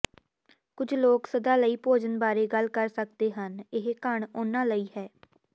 ਕੁਝ ਲੋਕ ਸਦਾ ਲਈ ਭੋਜਨ ਬਾਰੇ ਗੱਲ ਕਰ ਸਕਦੇ ਹਨ ਇਹ ਘਣ ਉਹਨਾਂ ਲਈ ਹੈ